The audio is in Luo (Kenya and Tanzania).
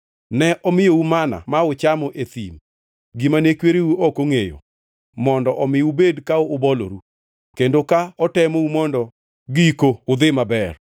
Ne omiyou manna ma uchamo e thim gimane kwereu ne ok ongʼeyo, mondo omi ubed ka uboloru kendo ka otemou mondo giko udhi maber.